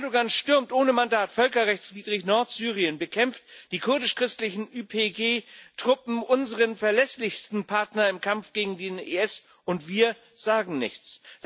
Erdoğan stürmt ohne Mandat völkerrechtswidrig Nordsyrien, bekämpft die kurdisch christlichen YPG Truppen unseren verlässlichsten Partner im Kampf gegen den IS und wir sagen nichts.